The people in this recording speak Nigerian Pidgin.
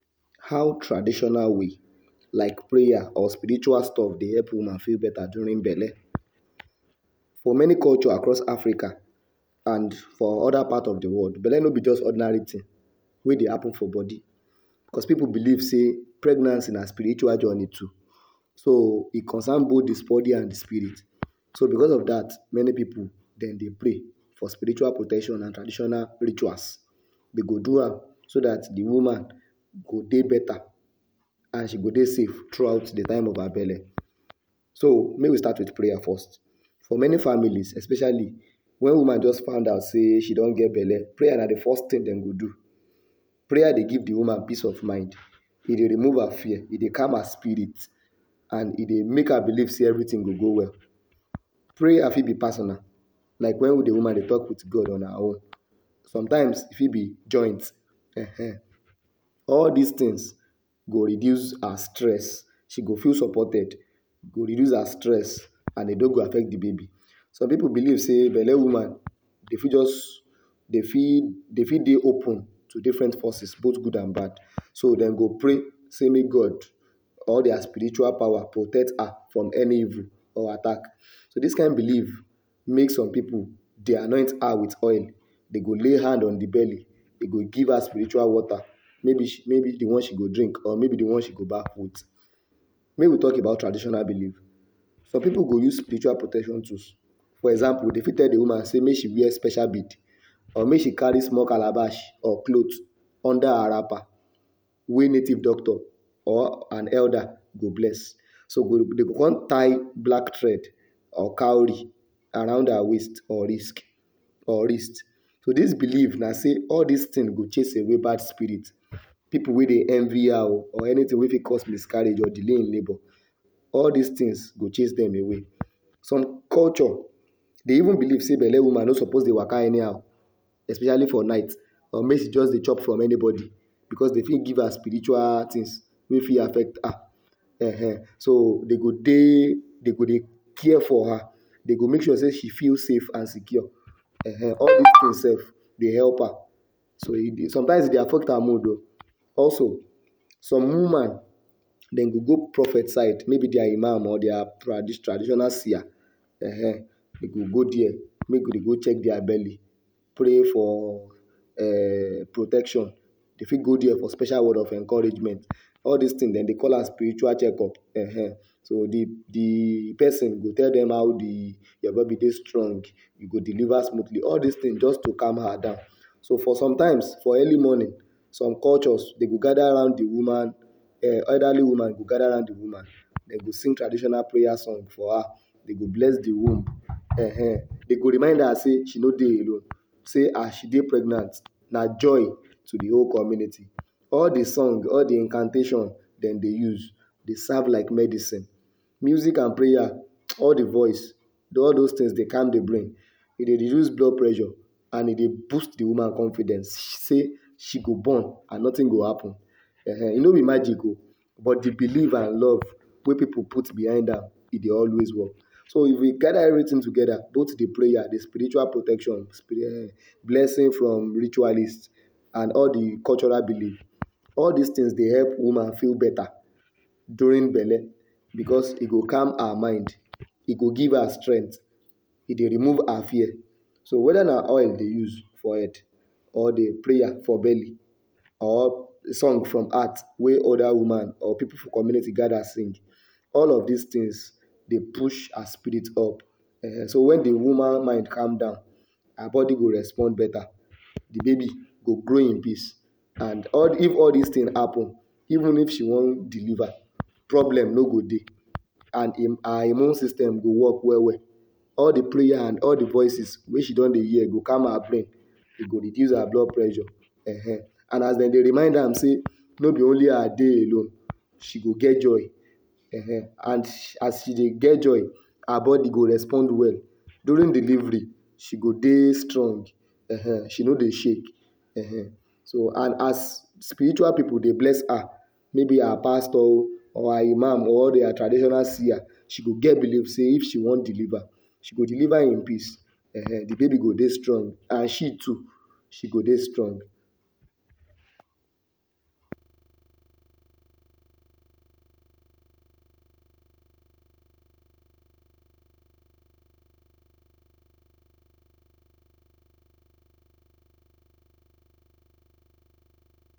How traditional way like prayer or spiritual stuff like prayer dey help woman feel beta during belle? For many culture across Africa and for other parts of de world, belle no be just ordinary thing wey dey happen for bodi cos pipu believe say pregnancy na spiritual journey too so e concern both de bodi and de spirit. So becos of dat, many pipu dem dey pray for spiritual protection and traditional rituals. Dey go do am so dat the woman go dey beta and she go dey safe through out the time of her belle. So make we start with prayer first, for many families, especially wen woman just find out sey she don get belle, prayer na de first thing wey dem go do. Prayer dey give de woman peace of mind, e dey remove her fear, e dey calm her spirit and e dey make her believe sey everything go go well. Prayer fit be personal like wen de woman dey talk with god on her own e fit be joint um all dis things go reduce her stress, she go feel supported go reduce her stress and e no go affect de baby. Some pipu believe sey belle woman dey fit just, dey fit, dey fit dey open to different forces both good and bad so dem go pray say make God all dia spiritual power protect her from any evil or attack. So dis kind believe make some pipu dey anoint her with oil, dey go lay hand on the belly, dey go give her spiritual water maybe maybe de one she go drink or maybe de one she go baff with. Make we talk about traditional believe. Some pipu go use spiritual protection tools, for example dey fit tell de woman make she wear special bead or make she carry small calabash or cloth under her wrapper wey native doctor or an elder go bless so dey go con tie black thread or cowry around her waist or risk or wrist so dis believe na sey all dis things go chase away bad spirit, people wey dey envy her o or anything wey fit cause miscarriage or delay in labour all dis things go chase dem away some culture, dey even believe say belle woman no suppose dey waka anyhow especially for night or make she just dey chop from any bodi becos dey fit give her spiritual things wey affect her um so dey go dey, dey go dey care for her dey go make sure say she feel safe and secure all dis things sef dey help her so e dey sometimes e dey affect her mood o also some woman dem go go prophet side maybe dia imam or dia traditional seer um dem dey go go there check dia belly, pray for um protection dey fit go there for special word of encouragement all dis thing dem dey call am spiritual check up, um so de de person go tell dem how de your body dey strong you go deliver smoothly all dis thing just to calm her down so for sometimes for early morning some cultures dey go gather round de woman um elderly woman go gather round de woman, dey go sing traditional prayer song for her, dey go bless de womb um dey go remind her sey she no dey alone sey as she pregnant na joy to de whole community all de song all de incantations dem use dey serve like medicine music and prayer all de voice all those things dey calm de brain, e dey reduce blood pressure and e dey boost de woman confidence sey she go born and nothing go happen um e no be magic o but de believe and love wey pipu put behind her, e dey always work so if you gather everything together de prayer de spiritual protection blessing from ritualist and all de cultural believe dis things dey help de woman feel beta during belle becos e go calm her mind, e go give her strength, e dey remove her fear. So whether na oil you dey use for head or the prayer for belly or song from heart wey other woman or pipu for community gather sing, all of dis things dey push her spirit up um de woman mind calm down, her body go respond beta, de baby grow in peace and all if all dis things happen even if she want deliver problem no go dey and her immune system go work well well all de prayer and all de voices wey she don dey hear go calm her brain, e go reduce her blood pressure um and as dem dey remind her sey no be only her dey alone she go get joy um and as she dey get joy go respond well during delivery go dey strong um she no dey shake um so and as spiritual pipu dey bless her maybe her pastor o or her imam or dia traditional seer she go get believe if she want deliver, she go deliver in peace um de baby go dey strong and she too she go dey strong.